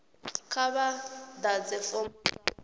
kha vha ḓadze fomo dza